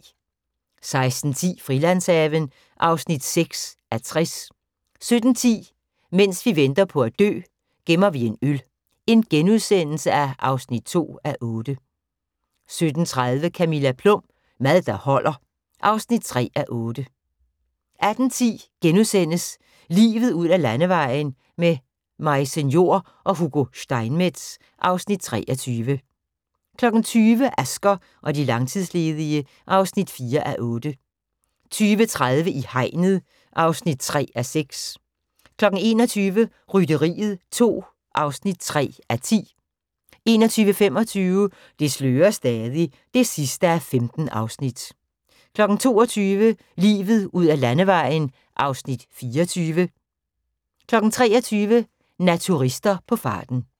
16:10: Frilandshaven (6:60) 17:10: Mens vi venter på at dø - gemmer vi en øl (2:8)* 17:30: Camilla Plum – Mad der holder (3:8) 18:10: Livet ud ad landevejen: Majse Njor og Hugo Steinmetz (Afs. 23)* 20:00: Asger og de langtidsledige (4:8) 20:30: I hegnet (3:6) 21:00: Rytteriet 2 (3:10) 21:25: Det slører stadig (15:15) 22:00: Livet ud ad landevejen (Afs. 24) 23:00: Naturister på farten